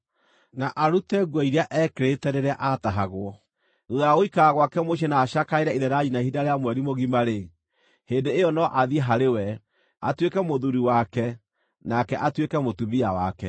na arute nguo iria eekĩrĩte rĩrĩa aatahagwo. Thuutha wa gũikara gwake mũciĩ na acakaĩre ithe na nyina ihinda rĩa mweri mũgima-rĩ, hĩndĩ ĩyo no athiĩ harĩ we, atuĩke mũthuuri wake nake atuĩke mũtumia wake.